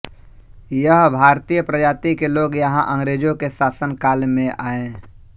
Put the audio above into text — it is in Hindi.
यह भारतीय प्रजाती के लोग यहाँ अंग्रेजो़ के शासन काल मे आएँ